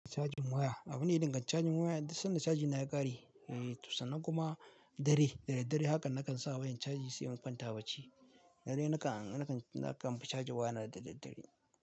Cajin waya. Abune idan gan cajin waya idan sanda caji na ya ƙare, eh to sannan kuma dare, da dare haka nakan sa wayar caji sai in kwanta a bacci. Dare nakan, nakan, nakan fi caji waya na da daddare.